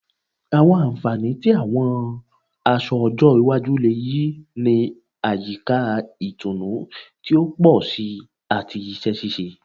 Àwọn ànfàní tí àwọn aṣọ ọjọ́ iwájú le yí ni àyíká ìtùnú ti o pọ si ati iṣẹ ṣiṣe